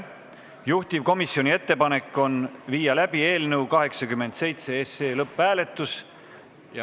Juhtivkomisjoni ettepanek on viia läbi eelnõu 87 lõpphääletus.